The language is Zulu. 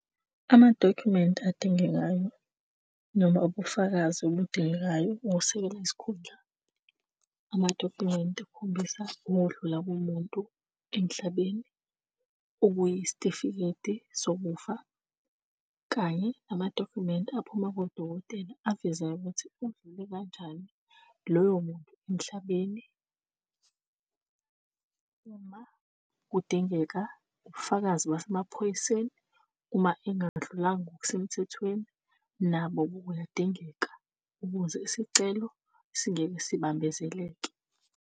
Amadokhumenti adingekayo noma ubufakazi obudingekayo ukusekela isikhundla, amadokhumenti akhombisa ukudlula komuntu emhlabeni. Okuyisitifiketi sokufa, kanye namadokhumenti aphuma kodokotela avezayo ukuthi udlule kanjani loyo muntu emhlabeni. Uma kudingeka ubufakazi basemaphoyiseni, uma engadlulanga ngokusemthethweni nabo buyadingeka ukuze isicelo singeke sibambezeleke.